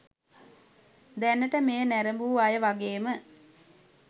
දැනට මෙය නැරඹූ අය වගේම